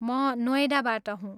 म नोएडाबाट हुँ।